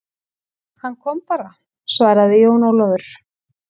Hann kom bara, svaraði Jón Ólafur.